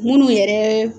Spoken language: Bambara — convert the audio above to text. Munnu yɛrɛ